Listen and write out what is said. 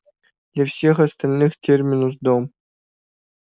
для всех остальных терминус дом